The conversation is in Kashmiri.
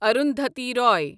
اروندھتی روے